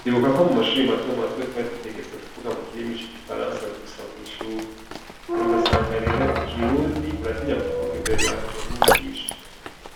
Ndibukako mumashure mato mato twari dutegetswe kuvuga mukirimi c'igifaransa gusa mwishure, rero ugasanga rero ikirundi uratinya kukivuga imbere ya mwigisha,